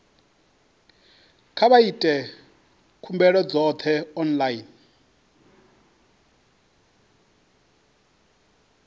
kha vha ite khumbelo dzoṱhe online